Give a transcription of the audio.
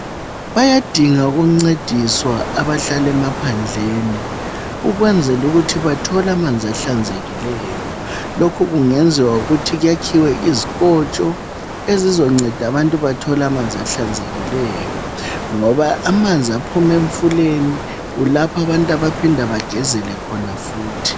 Bayadingwa ukuncedisa abahlala emaphandleni ukwenzela ukuthi bathole amanzi ahlanzekileyo. Lokhu kungenziwa ngokuthi kwakhiwe izikotsho ezizonceda abantu bathole ahlanzekileyo ngoba amanzi aphuma emfuleni kulapho abantu abaphinda begezele khona futhi.